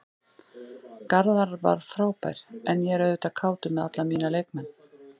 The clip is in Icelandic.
Garðar var frábær en ég er auðvitað kátur með alla mína leikmenn.